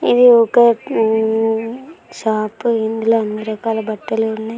ఇది ఒక షాప్ లో అన్ని రకాల బట్టలు ఉన్నాయి.